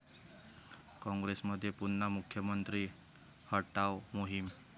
काँग्रेसमध्ये पुन्हा 'मुख्यमंत्री हटाव' मोहीम?